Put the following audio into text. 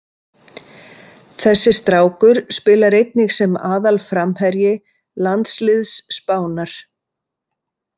Þessi strákur spilar einnig sem aðalframherji landsliðs Spánar.